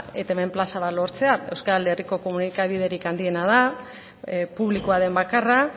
etbn plaza bat lortzea euskal herriko komunikabiderik handiena da publikoa den bakarra